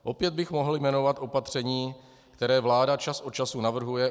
Opět bych mohl jmenovat opatření, které vláda čas od času navrhuje.